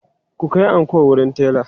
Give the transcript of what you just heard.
ku Kai anko wurin tela!